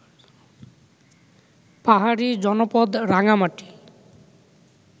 পাহাড়ি জনপদ রাঙামাটি